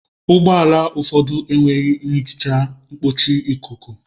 Ụgbọ ala ụfọdụ enweghị nhicha mkpuchi ikuku.